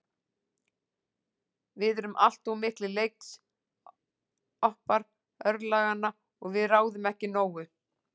Við erum allt of miklir leiksoppar örlaganna og við ráðum ekki nógu.